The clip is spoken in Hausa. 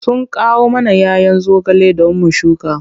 Suna kawo mana 'ya 'yan zogale don mu shuka.